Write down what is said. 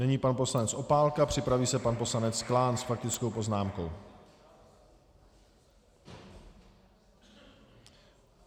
Nyní pan poslanec Opálka, připraví se pan poslanec Klán s faktickou poznámkou.